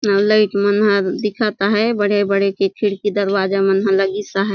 लइट मन हर दिखत आहे बड़े-बड़े के खिड़की दरवाजा मन लगीस आहै।